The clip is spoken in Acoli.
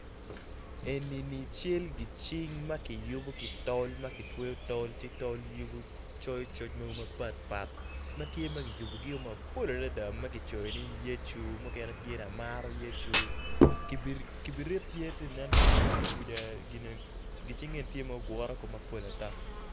Eni ni cal gicing ma kiyubo ki tol ma kitweyo tol ci tol coyo coc mogo mapatpat matye ma kiyubogi mapol adada ma kicoyo ni yecu mukene tye ni amaro yecu kibirit tye kanen ki tung ingeye kwica gin cing eni tye ma ogure mapol ata.